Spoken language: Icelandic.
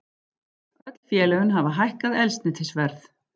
Öll félögin hafa hækkað eldsneytisverð